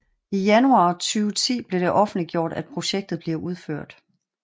I januar 2010 blev det offentliggjort at projektet bliver udført